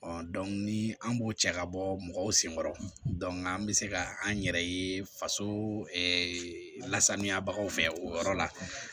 ni an b'o cɛ ka bɔ mɔgɔw senkɔrɔ an bɛ se ka an yɛrɛ ye faso lasaniyabagaw fɛ o yɔrɔ la